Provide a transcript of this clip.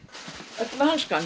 ertu með hanska